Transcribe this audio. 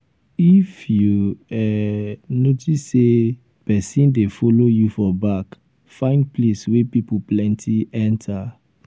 if you um notice say um pesin dey follow you for back find place wey pipo plenty enter. um